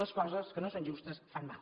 les coses que no són justes fan mal